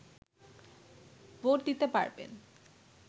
vote দিতে পারবেন